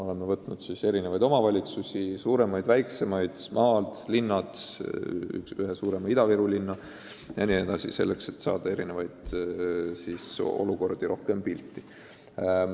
Oleme valinud erinevaid omavalitsusi – suuremaid, väiksemaid, maalt, linnade omad, ühe suurima Ida-Viru linna –, selleks et saada pilt rohkematest olukordadest.